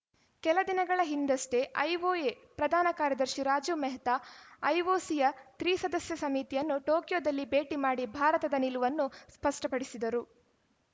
ಕೆಲ ದಿನಗಳ ಹಿಂದಷ್ಟೇ ಐಒಎ ಪ್ರಧಾನ ಕಾರ್ಯದರ್ಶಿ ರಾಜೀವ್‌ ಮೆಹ್ತಾ ಐಒಸಿಯ ತ್ರಿಸದಸ್ಯ ಸಮಿತಿಯನ್ನು ಟೋಕಿಯೋದಲ್ಲಿ ಭೇಟಿ ಮಾಡಿ ಭಾರತದ ನಿಲುವನ್ನು ಸ್ಪಷ್ಟಪಡಿಸಿದ್ದರು